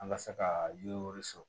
An ka se ka yiriw sɔrɔ